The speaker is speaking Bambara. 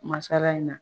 Masala in na